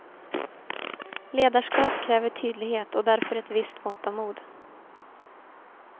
Ledarskap kräver tydlighet och därför ett visst mått av mod.